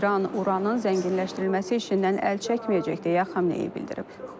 İran uranın zənginləşdirilməsi işindən əl çəkməyəcək deyə Xameneyi bildirib.